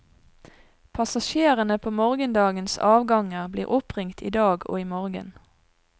Passasjerene på morgendagens avganger blir oppringt i dag og i morgen.